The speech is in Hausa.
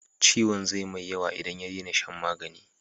Ciwon zai mai yawa in ya dena shan magani